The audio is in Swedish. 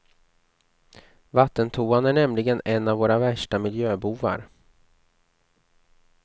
Vattentoan är nämligen en av våra värsta miljöbovar.